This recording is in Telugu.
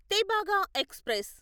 తెభాగా ఎక్స్ప్రెస్